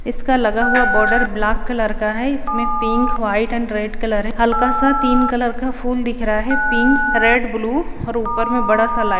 इसका लगा हुआ बॉर्डर ब्लैक कलर का है इसमें pink white and red colour है हल्का सा तीन कलर का फूल दिख रहा है पिंक रेड ब्लू और ऊपर में बड़ा सा लाइट --